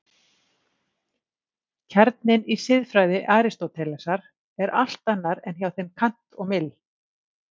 Kjarninn í siðfræði Aristótelesar er allt annar en hjá þeim Kant og Mill.